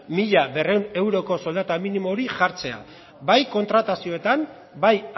mila berrehun euroko soldata minimo hori jartzea bai kontratazioetan bai